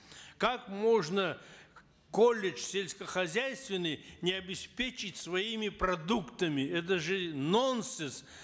как можно колледж сельскохозяйственный не обеспечить своими продуктами это же нонсенс